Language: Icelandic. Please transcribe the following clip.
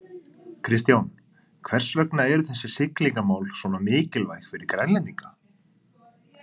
Kristján, hvers vegna eru þessi siglingamál svona mikilvæg fyrir Grænlendinga?